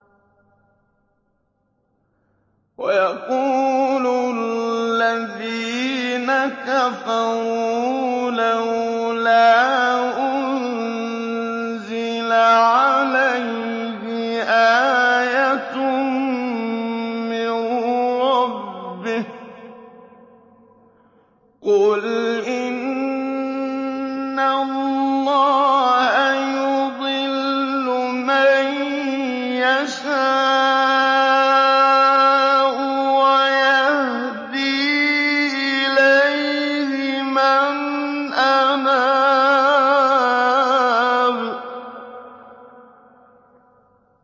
وَيَقُولُ الَّذِينَ كَفَرُوا لَوْلَا أُنزِلَ عَلَيْهِ آيَةٌ مِّن رَّبِّهِ ۗ قُلْ إِنَّ اللَّهَ يُضِلُّ مَن يَشَاءُ وَيَهْدِي إِلَيْهِ مَنْ أَنَابَ